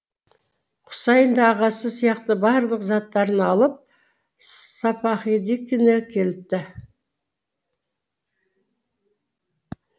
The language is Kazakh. құсайын да ағасы сияқты барлық заттарын алып сапаһидікіне келіпті